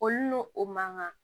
Olu n'u o man kan